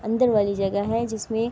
اندر والی جگہ ہے جسمے--